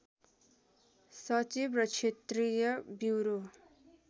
सचिव र क्षेत्रीय ब्युरो